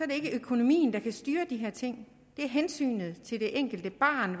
det ikke økonomien der kan styre de her ting det er hensynet til det enkelte barn